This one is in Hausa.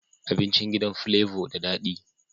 Abincin gidan flavor da dadi